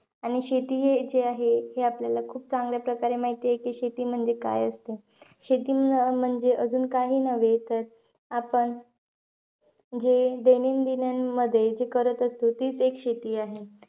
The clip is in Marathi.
आणि शेती, ही जी आहे हे, आपल्याला खूप चांगल्या प्रकारे माहितयं की, शेती म्हणजे काय असते. शेती अं म्हणजे अजून काही नव्हे आपण हे दैनंदिनीमध्ये जे करत असतो, तीचं एक शेती आहे.